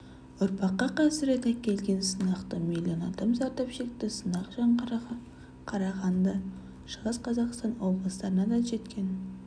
ұрпаққа қасірет әкелген сынақтан миллион адам зардап шекті сынақ жаңғырығы қарағанды шығыс қазақстан облыстарына да жеткен